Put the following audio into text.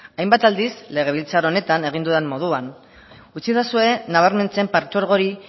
hainbat aldiz legebiltzar honetan egin dudan moduan utzidazue nabarmentzen partzuergo hori